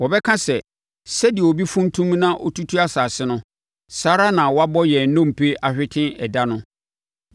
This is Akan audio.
Wɔbɛka sɛ, “Sɛdeɛ obi funtum na ɔtutu asase no, saa ara na wɔabɔ yɛn nnompe ahwete ɛda ano.”